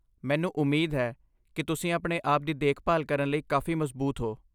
ਮੈਨੂੰ ਉਮੀਦ ਹੈ ਕਿ ਤੁਸੀਂ ਆਪਣੇ ਆਪ ਦੀ ਦੇਖਭਾਲ ਕਰਨ ਲਈ ਕਾਫ਼ੀ ਮਜ਼ਬੂਤ ਹੋ।